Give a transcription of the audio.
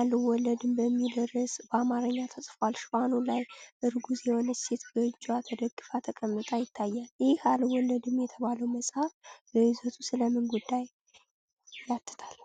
“አልወለድም” የሚል ርዕስ በአማርኛ ተጽፏል:: ሽፋኑ ላይ እርጉዝ የሆነች ሴት በእጅዋ ተደግፋ ተቀምጣ ይታያል:: ይህ “አልወለድም” የተባለው መጽሐፍ በይዘቱ ስለ ምን ጉዳይ ያትታል?